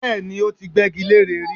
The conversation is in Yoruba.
Bẹ́ẹ̀ni, ó ti gbẹ́gi leré rí